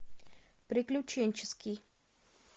приключенческий